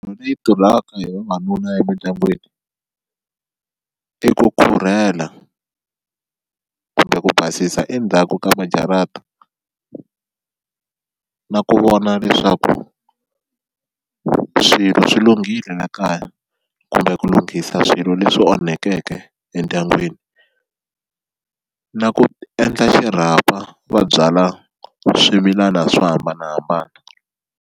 Leyi tirhiwaka hi vavanuna emindyangwini i ku khurhela kumbe ku basisa endzhaku ka majarata na ku vona leswaku swilo swi lunghile la kaya kumbe ku lunghisa swilo leswi onhekeke endyangwini na ku endla xirhapa va byala swimilana swo hambanahambana.